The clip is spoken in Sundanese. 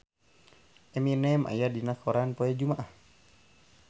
Eminem aya dina koran poe Jumaah